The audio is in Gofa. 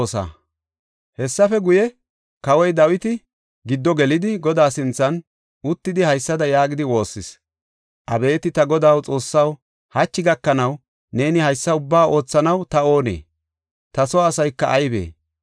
Hessafe guye, kawoy Dawiti giddo gelidi Godaa sinthan uttidi haysada yaagidi woossis. “Abeeti ta Godaa xoossaw, hachi gakanaw neeni haysa ubbaa oothanaw ta oonee? Ta soo asayka aybee?